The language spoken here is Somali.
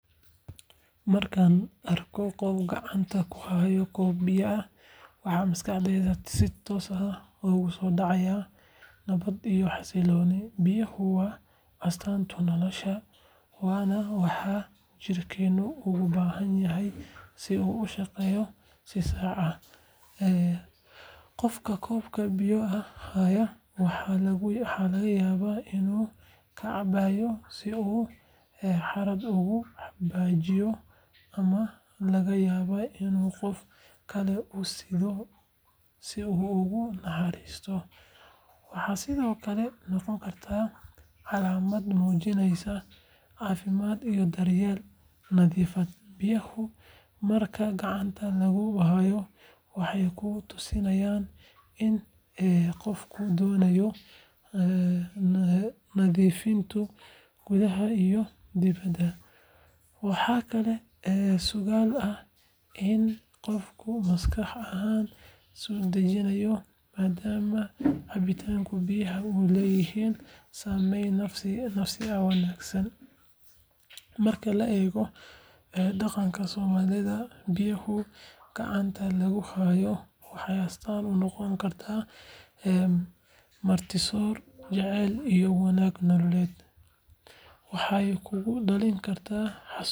Markaad aragto qof gacanta ku haya koob biyo ah, waxaa maskaxdaada si toos ah ugu soo dhacaya nabad iyo xasillooni. Biyaha waa astaanta nolosha, waana waxa jidhkeennu ugu baahan yahay si uu u shaqeeyo si sax ah. Qofka koobka biyo ah haya waxa laga yaabaa inuu ka cabayo si uu harraad uga baajiiyo, ama laga yaabee inuu qof kale u siddo si uu ugu naxariisto. Waxay sidoo kale noqon kartaa calaamad muujinaysa caafimaad iyo daryeel nafeed. Biyaha marka gacanta lagu hayo, waxay ku tusinayaan in qofku doonayo nadiifnimo gudaha iyo dibedba. Waxaa kaloo suuragal ah in qofku maskax ahaan isu dejinayo, maadaama cabitaanka biyaha uu leeyahay saameyn nafsi ah oo wanaagsan. Marka la eego dhaqanka Soomaalida, biyaha gacanta lagu hayo waxay astaan u noqon karaan martisoor, jacayl iyo wadaag nololeed. Waxay kugu dhalin kartaa xasuus.